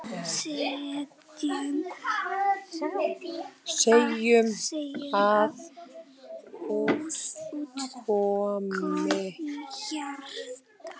Segjum að út komi hjarta.